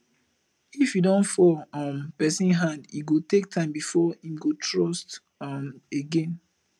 if you don fall um person hand e go take time before im go trust um again